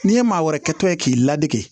N'i ye maa wɛrɛ kɛtɔ ye k'i ladege